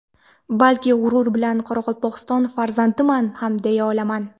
balki g‘urur bilan Qoraqalpog‘iston farzandiman ham deya olaman.